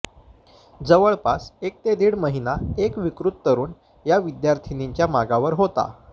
जवळपास एक ते दीड महिना एक विकृत तरुण या विद्यार्थिनींच्या मागावर होता